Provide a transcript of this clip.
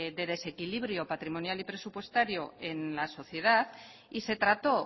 de desequilibrio patrimonial y presupuestario en la sociedad y se trató